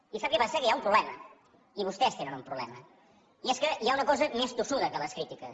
i sap què passa que hi ha un problema i vostès tenen un problema i és que hi ha una cosa més tossuda que les crítiques